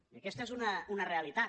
i aquesta és una realitat